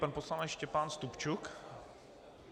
Pan poslanec Štěpán Stupčuk.